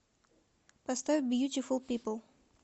поставь бьютифул пипл